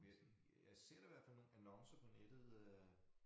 Men jeg ser da hvert fald nogle annoncer på nettet øh